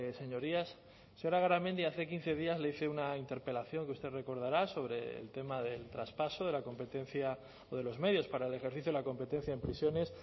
señorías señora garamendi hace quince días le hice una interpelación que usted recordará sobre el tema del traspaso de la competencia o de los medios para el ejercicio de la competencia en prisiones